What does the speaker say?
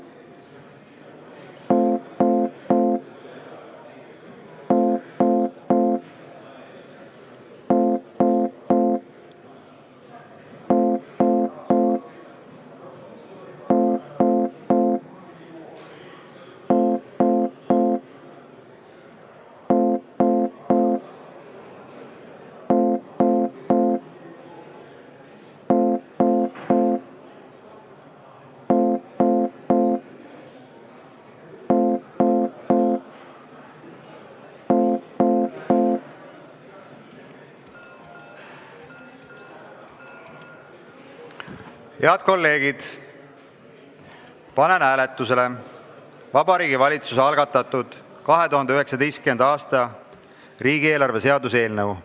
Head kolleegid, panen hääletusele Vabariigi Valitsuse algatatud 2019. aasta riigieelarve seaduse eelnõu.